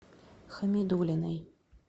хамидуллиной